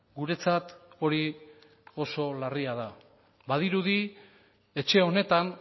guretzat hori oso larria da badirudi etxe honetan